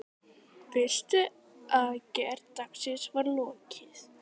Fyrstu aðgerð dagsins var lokið.